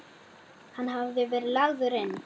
Hann hafði verið lagður inn.